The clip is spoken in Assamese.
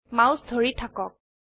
মাউস ধৰি থাকক